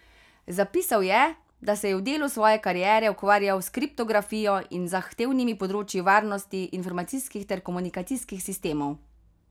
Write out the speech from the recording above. Zapisal je, da se je v delu svoje kariere ukvarjal s kriptografijo in z zahtevnimi področji varnosti informacijskih ter komunikacijskih sistemov.